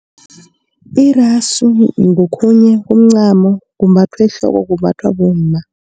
Iraso ngokhunye kuncani kumbathwa ehloko kumbathwa bomma.